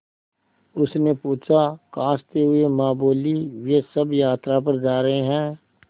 उसने पूछा खाँसते हुए माँ बोलीं वे सब यात्रा पर जा रहे हैं